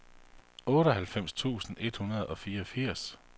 otteoghalvfems tusind et hundrede og fireogfirs